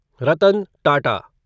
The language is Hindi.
रतन टाटा